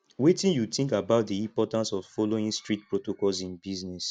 wetin you think about di importance of following strict protocols in business